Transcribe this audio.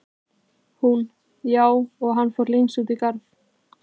Hún: Já, og hann fór lengst út í garð.